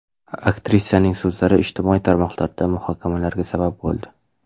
Aktrisaning so‘zlari ijtimoiy tarmoqlarda muhokamalarga sabab bo‘ldi.